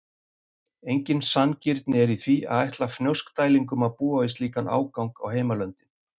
Engin sanngirni er í því að ætla Fnjóskdælingum að búa við slíkan ágang á heimalöndin.